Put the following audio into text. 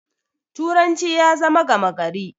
turanci ya zama gamagari